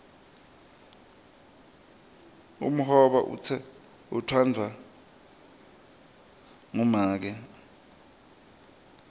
umhoba utsandvwa ngumake